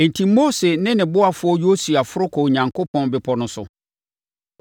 Enti, Mose ne ne ɔboafoɔ Yosua foro kɔɔ Onyankopɔn bepɔ no so.